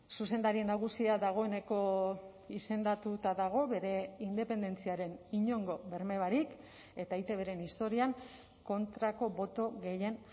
zuzendari nagusia dagoeneko izendatuta dago bere independentziaren inongo berme barik eta eitbren historian kontrako boto gehien